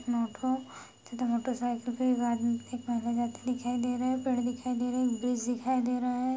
Cycle पर पेड़ दिखाई दे रहे हैं एक ब्रिज दिखाई दे रहा है।